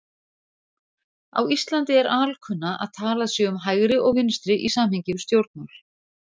Á Íslandi er alkunna að talað sé um hægri og vinstri í samhengi við stjórnmál.